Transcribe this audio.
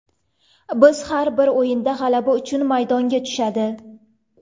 Biz har bir o‘yinda g‘alaba uchun maydonga tushadi.